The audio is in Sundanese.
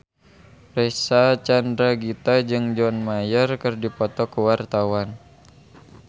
Reysa Chandragitta jeung John Mayer keur dipoto ku wartawan